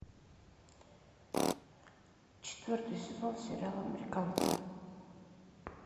четвертый сезон сериала американцы